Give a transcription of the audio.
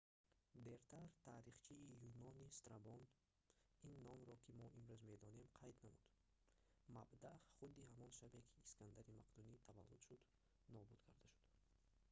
дертар таърихчии юнонӣ страбон ин номро ки мо имрӯз медонем қайд намуд мабдаъ худи ҳамон шабе ки искандари мақдунӣ таваллуд шуд нобуд карда шуд